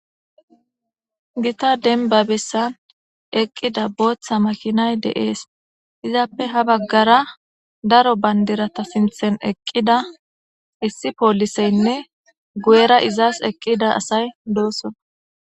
Gita denbabessa eqqida booththa makinay deees izappe habaggara daro bandirata sinthen eqqida issi pooliseynne guyera izas eqqida asay doossona.